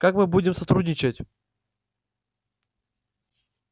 как мы будем сотрудничать